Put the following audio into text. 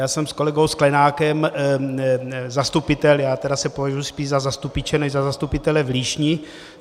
Já jsem s kolegou Sklenákem zastupitel, já tedy se považuji spíš za zastupiče než za zastupitele, v Líšni.